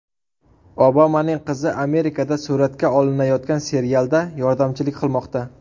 Obamaning qizi Amerikada suratga olinayotgan serialda yordamchilik qilmoqda .